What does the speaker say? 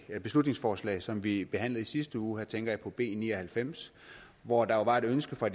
det beslutningsforslag som vi behandlede i sidste uge og her tænker jeg på b ni og halvfems hvor der var et ønske fra